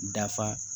Dafa